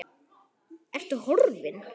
Ertu horfin?